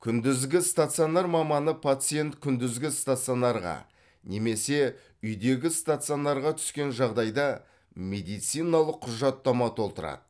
күндізгі стационар маманы пациент күндізгі стационарға немесе үйдегі стационарға түскен жағдайда медициналық құжаттама толтырады